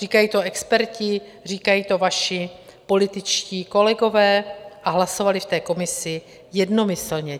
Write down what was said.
Říkají to experti, říkají to vaši političtí kolegové a hlasovali v té komisi jednomyslně.